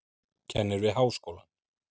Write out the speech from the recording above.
Kennir við háskólann.